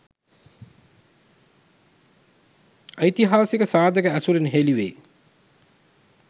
ඓතිහාසික සාධක ඇසුරින් හෙළිවේ.